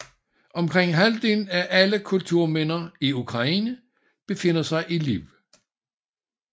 Omkring halvdelen af alle kulturminder i Ukraine befinder sig i Lviv